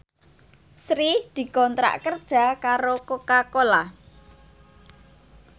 Sri dikontrak kerja karo Coca Cola